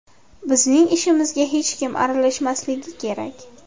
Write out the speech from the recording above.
Bizning ishimizga hech kim aralashmasligi kerak.